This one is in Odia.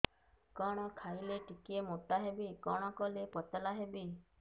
କଣ ଖାଇଲେ ଟିକେ ମୁଟା ହେବି କଣ କଲେ ପତଳା ହେବି